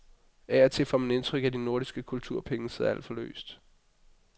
Af og til får man indtryk af, at de nordiske kulturpenge sidder alt for løst.